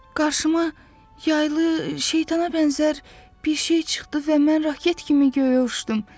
Qarşıma yaylı şeytana bənzər bir şey çıxdı və mən raket kimi göyə uçdum.